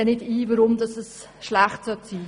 Ich sehe nicht ein, warum das schlecht sein sollte.